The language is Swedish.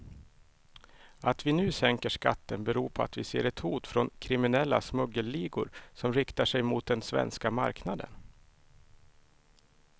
Att vi nu sänker skatten beror på att vi ser ett hot från kriminella smuggelligor som riktar sig mot den svenska marknaden.